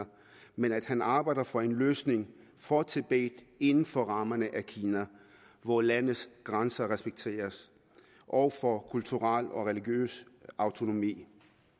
men at han arbejder for en løsning for tibet inden for rammerne af kina hvor landets grænser respekteres og for kulturel og religiøs autonomi